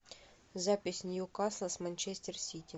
запись ньюкасл с манчестер сити